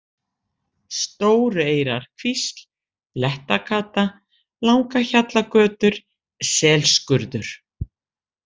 Stórueyrarkvísl, Blettagata, Langahjallagötur, Selskurður